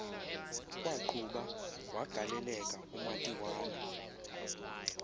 kwaqhuba wagaleleka umatiwana